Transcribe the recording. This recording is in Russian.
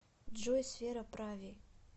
джой сфера прави